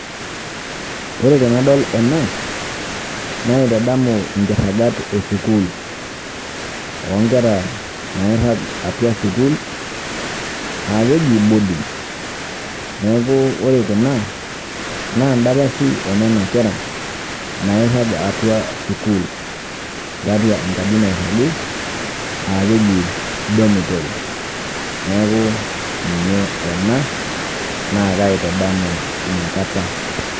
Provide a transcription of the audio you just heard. Ore tenadol ena naitadamu nkiragat e sukuul o nkera nairag atua sukuul aake eji boarding. Neeku ore kuna naa ndapashi e nena kera nairag atua sukuul tiatua enkaji nairagi aake eji dormitory, neeku ninye ena naa kaitadamu ina kata.